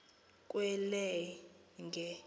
kwelenge